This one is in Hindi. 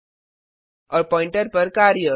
और पॉइंटर प्वॉइंटर पर कार्य